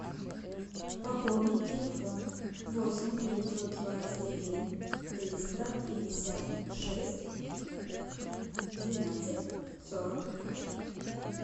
пополнить телефон восемь девятьсот двадцать один триста пятьдесят шесть двенадцать сорок